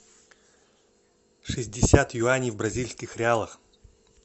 шестьдесят юаней в бразильских реалах